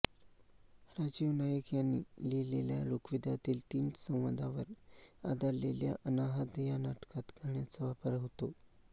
राजीव नाईक यांनी लिहिलेल्या ऋग्वेदातील तीन संवादांवर आधारलेल्या अनाहत या नाटकात गाण्यांचा वापर होता